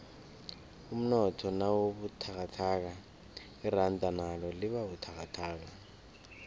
umnotho nawubuthakathaka iranda nalo libabuthakathaka